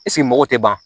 mɔgɔw tɛ ban